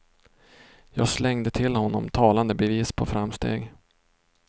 Jag slängde till honom talande bevis på framsteg.